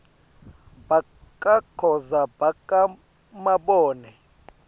bakakhoza baka mabone